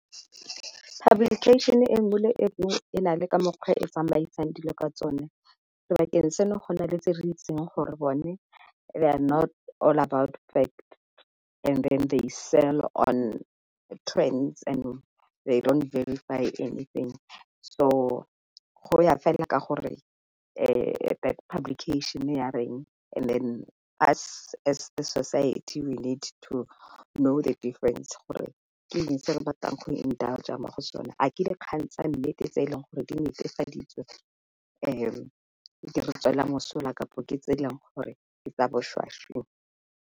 Publication e nngwe le e nngwe e na le ka mokgwa e tsamaisang dilo ka tsone, sebakeng seno go na le tse re itseng gore bone they are not all about fact and then they sell on trends and they don't verify everything. So go ya fela ka gore that publication ya reng and then us as the society we need to know the difference gore ke eng se re batlang go indulger mo dikgang tsa nnete tse e leng gore di netefaditswe di re tswela mosola kapo ke tse di yang go .